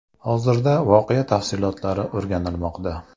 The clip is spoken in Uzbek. Hozirda voqea tafsilotlari o‘rganilmoqda.